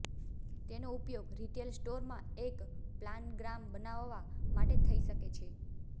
તેનો ઉપયોગ retail store માટે એક પ્લાનગ્રામ બનાવવા માટે થઈ શકે છે